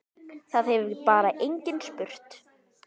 Það hefur bara enginn spurt